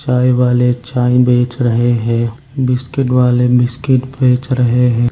चाय वाले चाय बेच रहे हैं बिस्किट वाले बिस्किट बेच रहे हैं।